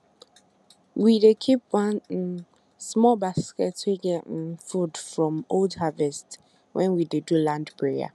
we dey keep one um small basket wey get um food from old harvest when we dey do land prayer